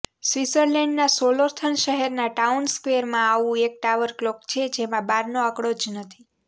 સ્વીત્ઝર્લેન્ડના Solothurn શહેરના town સ્ક્વેરમાં આવું એક ટાવર ક્લોક છે જેમાં બારનો આંકડો જ નથી